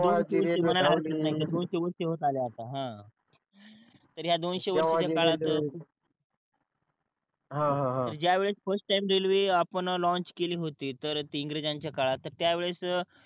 ज्यावेळेस first time railway आपण launch केली होती तर ती इंग्रजांच्या काळात त्या वेळेस